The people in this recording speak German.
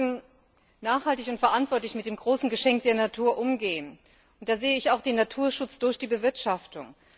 Wir müssen nachhaltig und verantwortlich mit dem großen Geschenk der Natur umgehen. Und da sehe ich auch den Naturschutz durch die Bewirtschaftung.